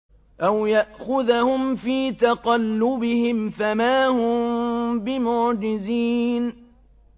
أَوْ يَأْخُذَهُمْ فِي تَقَلُّبِهِمْ فَمَا هُم بِمُعْجِزِينَ